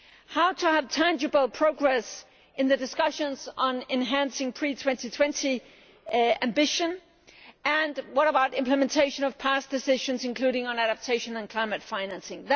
How can we have tangible progress in the discussions on enhancing pre 2020 ambitions and what about implementation of past decisions, including on adaptation and climate financing?